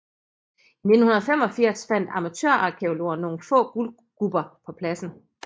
I 1985 fandt amatørarkæologer nogle få guldgubber på pladsen